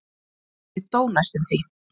Ég dó næstum því.